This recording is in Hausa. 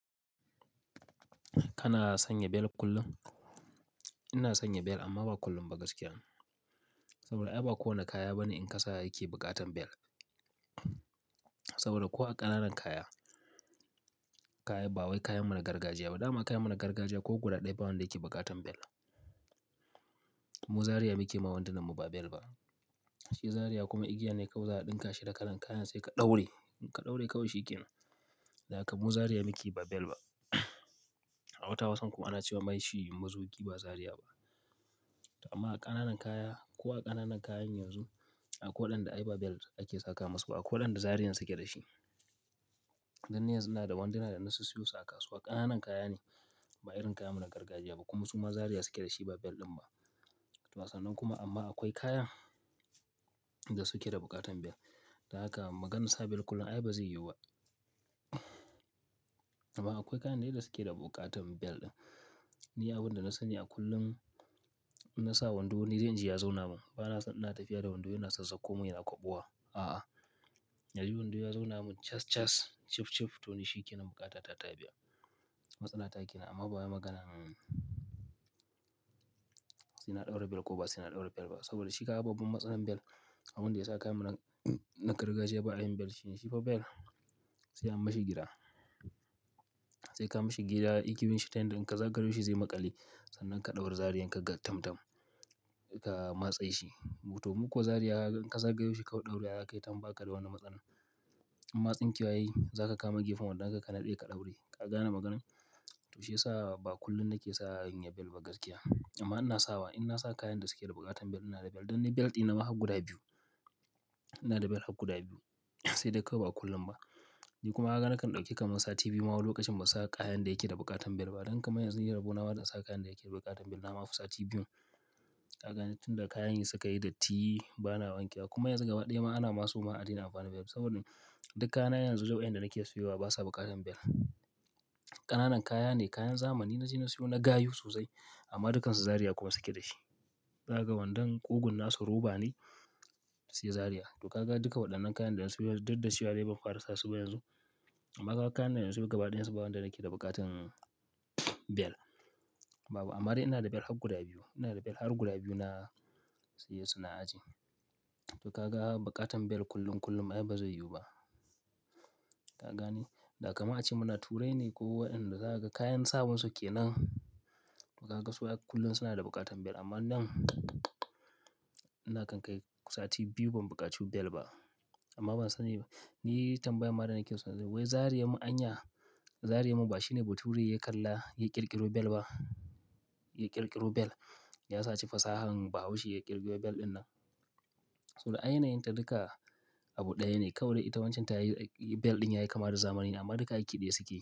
Kana sanya bel kullum? Ina sanya bel amma ba kullum ba gaskiya. Saboda ai ba kowane kaya bane in ka sa yake bukatan bel. Saboda ko a ƙananan kaya, kaya ba wai kayan mu na gargajiya ba, dama kayan mu na gargajiya ko guda ɗaya ba wanda yake bukatan bel. Mu zaria muke ma wandunanmu ba bel ba. Shi zaria kuma igiya ne kawai za a ɗinka shi da kalan kayan sai ka ɗaure. In ka ɗaure kawai shi kenan. Da haka mu zaria muke ba bel ba. Awata hausan kuma ana cewa mai shi muzuki ba zaria ba. Amma a ƙananan kaya ko a ƙananan kayan yanzu, akwa waɗanda ai ba bel ake saka masu ba. Akwa waɗanda zariyan suke da shi. Dan ni yanzu ina da wanda ina da na sissiyo su a kasuwa ƙananan kaya ne, ba irin kayan mu na gargajiya ba. Kuma su ma zaria suke da shi ba bel ɗin ba. To sannan kuma amma akwai kaya da suke da bukatan bel. Da haka maganinsa bel kullum ai bazai yiwu ba. Amma akwai kayan dai da suke da bukatan bel ɗin. Ni abin da na sani a kullum na sa wando, ni dai inji ya zauna min. Ba naso ina tafiya da wando yana sassako mun yana kwabuwa. A'a. Naji wando ya zauna min cas cas, cif cif, to shi kenan bukata ta tayi biya. Matsala ta kenan amma ba wai maganan su ina ɗaura bel ko ba saina ɗaura bel ba. Saboda shi ka babban matsalar bel, abunda yasa kayan mu na gargajiya ba a yi bel shine shi pa bel sai an mashi gida. Sai ka mashi gira, yi ki bin shi ta hanyar in ka zagayo shi zai maƙale. Sannan ka ɗaura zariyan ka tam tam, ka matse shi. Toh mu kuwa zaria ka zaga shi kawai ɗaurewa za kayi bakada wani matsala. Imma tsinke wa yayi, zaka kama gefen wandon ka, ka naɗe ka ɗaure. Ka gane maganin? To shi yasa ba kullum nake sa in yi bel ba gaskiya. Amma ina sawa, ina sa kayan da suke da bukatan bel. Ina da bel. Dan ni bel ɗina ma har guda biyu. Ina da bel har guda biyu. Sai dai kawai ba kullum ba. Ni kuma kaga nakan ɗauke kamar sati biyu ma wai lokacin ban sa kayan da yake da bukatan bel ba. Dan kamar yanzu ni rabo nama da sa kayan da yake da bukatan bel na ma fi sati biyu. Ka gane? Tun da kayan yi suka yi datti ba na wanke wa. Kuma yanzu gaba ɗaya ma ana masu ma adina amfani bel. Saboda dukkan kayana yanzu duk wain da nake siyowa basa bukatan bel. Ƙananan kaya ne, kayan zamani na je na siyo, na gayu sosai. Amma dukansu zaria kuma suke da shi. Za kaga wandan ƙugun nasu roba ne, sai zaria. To ka ga duka waɗannan kayan da na siyo, duk da siyo dai ban fara sasu ba yanzu. Amma ka ga kayan nan yanzu gaba ɗaya su ba wanda nake da bukatan bel. Babu. Amma dai ina da bel har guda biyu. Ina da bel har guda biyu na siye su na aji. To ka ga bukatan bel kullum kullum ai bazai yiwu ba. Ka gane? Da kamar ace muna turai ne ko Waɗanda zaka ga kayan sawan suke nan. To ka ga su kullum suna da bukatan bel. Amma nan ina kan kai sati biyu ban buƙacu bel ba. Amma ban sani ba. Ni tambayan ma da nake so. Wai zaria mun anya, zaria mun ba shine ba turai ya kalla ya ƙirƙiro bel ba. Ya ƙirƙiro bel. Ya saci fasahar bahaushe ya ƙirƙiro bel ɗin nan. Saboda ainayin ta duka abu ɗaya ne. Kawai ita wancan tayi bel ɗin yayi kama da zamani ne. Amma duka aiki ɗaya suke yi.